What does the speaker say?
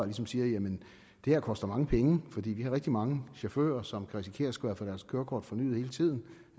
ligesom siger at det her koster mange penge fordi de har rigtig mange chauffører som kan risikere at skulle have deres kørekort fornyet hele tiden